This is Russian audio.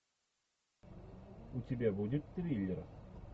у тебя будет триллер